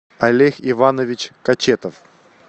олег иванович кочетов